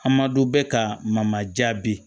A ma don bɛ ka mamaja bi